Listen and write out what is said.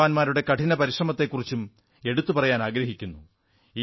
F ജവാന്മാരുടെ കഠിന പരിശ്രമത്തെക്കുറിച്ചും എടുത്തു പറയാനാഗ്രഹിക്കുന്നു